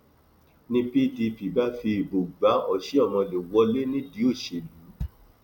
ni pdp bá fi ìbò gba ọsihomhole wọlé nídìí òṣèlú